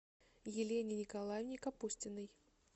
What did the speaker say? елене николаевне капустиной